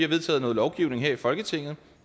vedtaget noget lovgivning her i folketinget